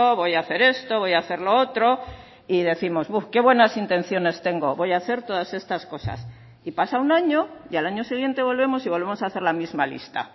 voy a hacer esto voy a hacer lo otro y décimos qué buenas intenciones tengo voy a hacer todas estas cosas y pasa un año y al año siguiente volvemos y volvemos a hacer la misma lista